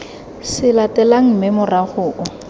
se latelang mme morago o